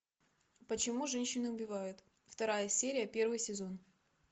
почему женщины убивают вторая серия первый сезон